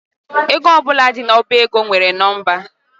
Ego ọbụla di n’ọba ego nwere nọmba